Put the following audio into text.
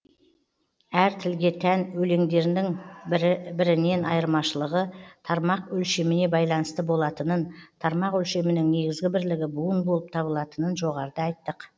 әр тілге тән өлеңдердің бір бірінен айырмашылығы тармақ өлшеміне байланысты болатынын тармақ өлшемінің негізгі бірлігі буын болып табылатынын жоғарыда айттық